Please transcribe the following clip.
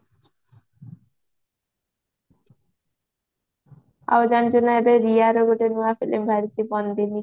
ଆଉ ଜାଣିଚୁ ନା ରିୟାର ଗୋଟେ ନୂଆ filmy ବାହାରିଚି ବନ୍ଦିନୀ